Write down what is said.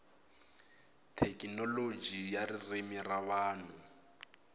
thekinoloji ya ririmi ra vanhu